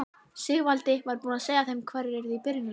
Sigvaldi var búinn að segja þeim hverjir yrðu í byrjunarliðinu.